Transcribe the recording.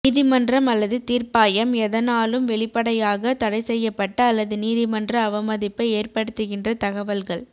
நீதிமன்றம் அல்லது தீர்ப்பாயம் எதனாலும் வெளிப்படையாக தடை செய்யப்பட்ட அல்லது நீதிமன்ற அவமதிப்பை ஏற்படுத்துகின்ற தகவல்கள்